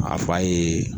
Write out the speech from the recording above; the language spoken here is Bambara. A fa ye